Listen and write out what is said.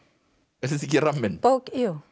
er þetta ekki ramminn já